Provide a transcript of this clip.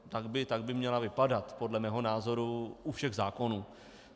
Tak by měla vypadat podle mého názoru u všech zákonů.